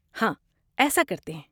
ہاں، ایسا کرتے ہیں۔